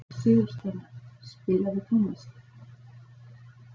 Sigursteina, spilaðu tónlist.